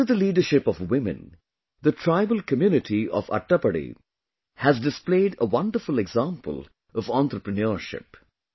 Under the leadership of women, the tribal community of Attappady has displayed a wonderful example of entrepreneurship